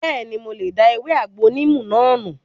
Bẹ́ẹ̀ni, mo lè da ewé àgbo níìmù náà nù